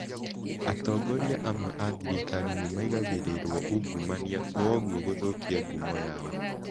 Atongoria amwe a thirikari nimaigagĩrĩrwo ungumania kwoguo guthukia ngumo yao